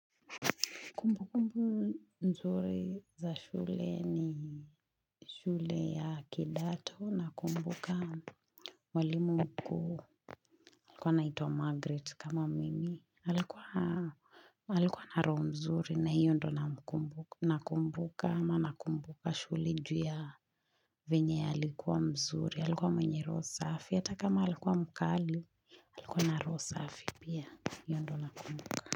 Kumbukumbu nzuri za shule ni shule ya kidato nakumbuka mwalimu mkuu. Alikuwa anaitwa Margaret kama mimi alikuwa Alikuwa na roho nzuri na hiyo ndo namkumbuka nakumbuka. Maana nakumbuka shule juu ya venye alikuwa mzuri. Alikuwa mwenye roho safi. Hata kama alikuwa mkali, alikuwa na roho safi pia. Hiyo ndio nakumbuka.